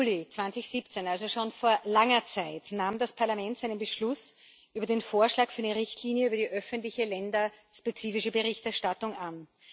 4. Juli 2017, also schon vor langer Zeit, nahm das Parlament seinen Beschluss über den Vorschlag für eine Richtlinie über die öffentliche länderspezifische Berichtserstattung an.